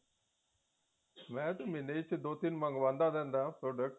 ਮੈ ਤੇ ਮਹੀਨੇ ਚ ਦੋ ਤਿੰਨ ਮੰਗਵਾਦਾ ਰਹਿੰਦਾ product